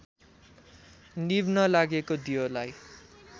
निभ्न लागेको दियोलाई